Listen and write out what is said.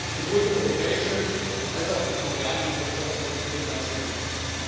Sowohl die europäische als auch die koreanische Wirtschaft profitieren ganz erheblich.